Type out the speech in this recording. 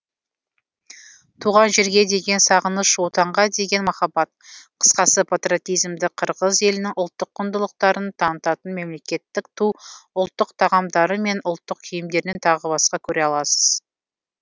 туған жерге деген сағыныш отанға деген махаббат қысқасы патриотизмді қырғыз елінің ұлттық құндылықтарын танытатын мемлекеттік ту ұлттық тағамдары мен ұлттық киімдерінен тағы басқа көре аласыз